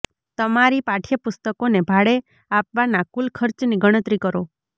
તમારી પાઠયપુસ્તકોને ભાડે આપવાના કુલ ખર્ચની ગણતરી કરો